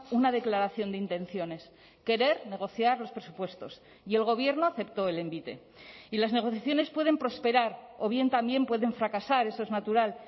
una declaración de intenciones querer negociar los presupuestos y el gobierno aceptó el envite y las negociaciones pueden prosperar o bien también pueden fracasar eso es natural